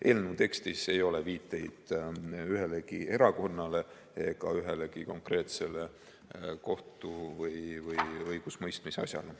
Eelnõu tekstis ei ole viiteid ühelegi erakonnale ega ühelegi konkreetsele kohtu‑ või õigusemõistmisasjale.